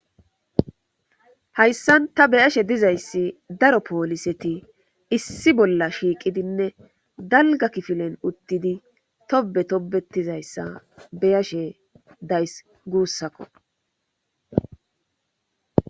Hayssan ta be'ashe dizayssi daro pooliseti issi bolla shiiqidinne dalgga kifilen uttidii tobe tobetizayssa beyashe days guussakko